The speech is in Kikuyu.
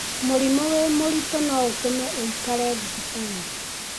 Mũrimũ wĩ mũritũ no ũtũme wũikare thibitarĩ.